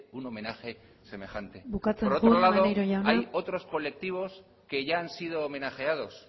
un homenaje semejante bukatzen joan por otro lado hay otros colectivos que ya han sido homenajeados